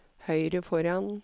høyre foran